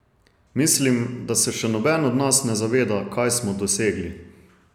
Mislim, da se še noben od nas ne zaveda, kaj smo dosegli.